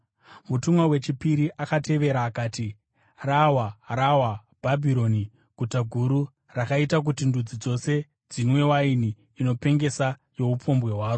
Mutumwa wechipiri akatevera akati, “Rawa! Rawa Bhabhironi Guta Guru, rakaita kuti ndudzi dzose dzinwe waini inopengesa youpombwe hwaro.”